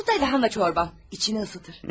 Bu da kələm şorbam, içini isidər.